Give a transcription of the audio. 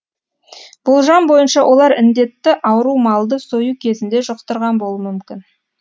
болжам бойынша олар індетті ауру малды сою кезінде жұқтырған болуы мүмкін